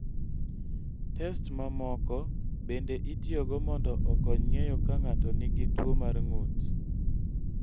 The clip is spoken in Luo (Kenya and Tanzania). Test mamoko Test mamoko bende itiyogo mondo okony ng�eyo ka ng�ato nigi tuo mar ng�ut.